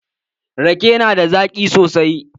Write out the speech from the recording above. Rake na da zaƙi sosai.